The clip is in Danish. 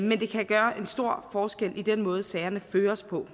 men det kan gøre en stor forskel i den måde sagerne føres på